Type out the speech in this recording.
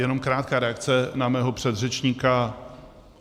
Jenom krátká reakce na mého předřečníka.